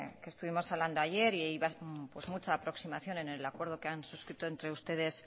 que estuvimos hablando ayer y hubo mucha aproximación en el acuerdo que han suscrito entre ustedes